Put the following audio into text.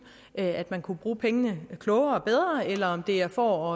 at man kunne bruge pengene klogere og bedre eller om det er for